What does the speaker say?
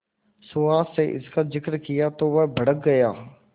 सुहास से इसका जिक्र किया तो वह भड़क गया